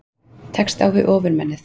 Tekst á við Ofurmennið